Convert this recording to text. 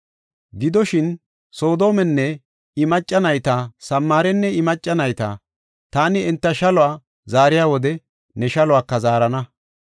“Gidoshin, Soodomenne I macca nayta, Samaarenne I macca nayta taani enta shaluwa zaariya wode ne shaluwaka zaarana.